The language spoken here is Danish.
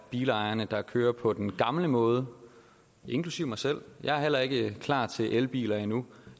bilejerne der kører på den gamle måde inklusive mig selv jeg er heller ikke klar til elbiler endnu